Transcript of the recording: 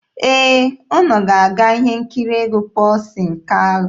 Ee, unu ga-aga ihe nkiri egwu Pọlsin Kalụ.